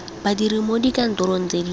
badiri mo dikantorong tse di